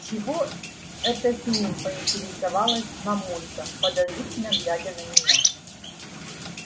чего это с ним поинтересовалась мамулька подозрительно глядя на меня